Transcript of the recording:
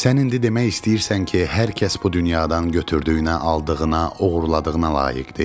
Sən indi demək istəyirsən ki, hər kəs bu dünyadan götürdüyünə, aldığına, oğurladığına layiqdir?